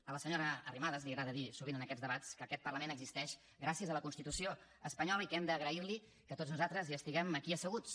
a la senyora arrimadas li agrada dir sovint en aquests debats que aquest parlament existeix gràcies a la constitució espanyola i que hem d’agrair li que tots nosaltres hi estiguem aquí asseguts